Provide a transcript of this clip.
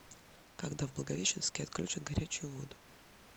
когда в благовещенске отключат горячую воду